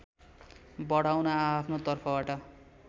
बढाउन आआफ्ना तर्फबाट